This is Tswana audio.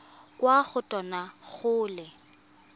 kwa go tona go le